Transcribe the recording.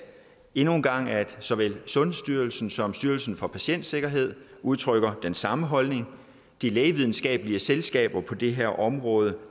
endnu en gang at såvel sundhedsstyrelsen som styrelsen for patientsikkerhed udtrykker den samme holdning de lægevidenskabelige selskaber på det her område